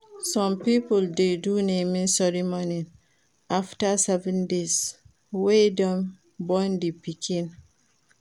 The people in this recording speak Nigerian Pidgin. Some pipo de do naming ceremony after 7 days wey dem born di pikin